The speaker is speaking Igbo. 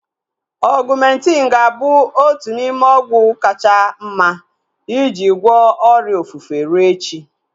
Ọgumentin ga-abụ otu n'ime ọgwụ kacha mma iji gwọọ ọrịa ofufe rue echi